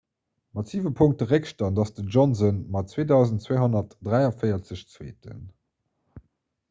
mat siwe punkte réckstand ass den johnson mat 2 243 zweeten